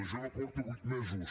jo no porto vuit mesos